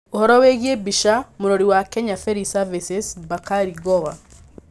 Ũvoro wĩgiĩ mbica, Mũrori wa Kenya Ferry Services - Bakari Gowa.